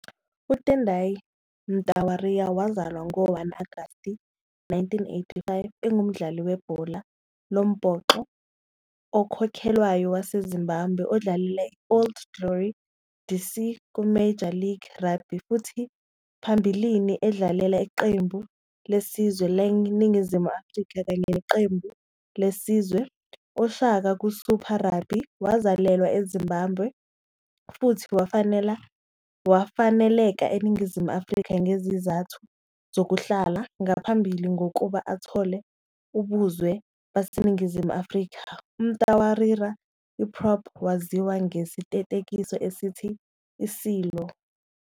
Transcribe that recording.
UTendai Mtawarira, owazalwa ngo-1 Agasti 1985, ungumdlali webhola lombhoxo okhokhelwayo waseZimbabwe odlalela i- Old Glory DC kuMajor League Rugby futhi phambilini edlalela iqembu lesizwe laseNingizimu Afrika kanye neqembu lesizwe. Oshaka kuSuper Rugby. Wazalelwa eZimbabwe futhi wafaneleka eNingizimu Afrika ngezizathu zokuhlala, ngaphambi kokuba athole ubuzwe baseNingizimu Afrika. UMtawarira, i- prop, waziwa ngesiteketiso esithi "Isilo".